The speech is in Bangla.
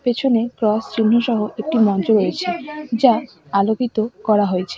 পিছনে ক্রস চিহ্ন সহ একটি মঞ্চ রয়েছে যা আলোকিত করা হয়েছে।